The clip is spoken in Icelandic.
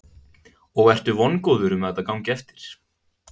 Sigríður: Og ertu vongóður um að þetta gangi eftir?